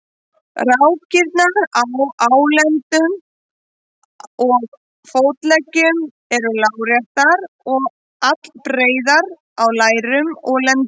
Dóttir Flóka var Þjóðgerður, móðir Koðráns, föður Kárs í Vatnsdal.